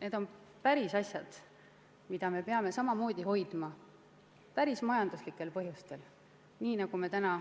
Need on pärisasjad, mida me peame samamoodi hoidma ka päris majanduslikel põhjustel, nii nagu me täna